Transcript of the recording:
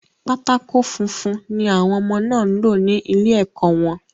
Pátákó funfun ni àwọn ọmọ náà ń lò ní ilẹ̀ ẹkọ̀ wọn